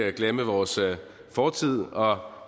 ikke glemme vores fortid